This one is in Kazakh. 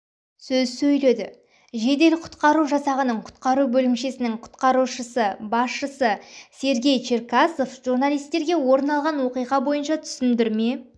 сөз сөйледі жедел-құтқару жасағының құтқару бөлімшесінің құтқарушы-басшысы сергей черкасов журналистерге орын алған оқиға бойынша түсіндірме